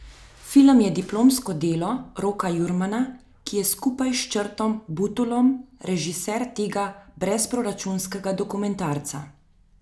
Film je diplomsko delo Roka Jurmana, ki je skupaj s Črtom Butulom režiser tega brezproračunskega dokumentarca.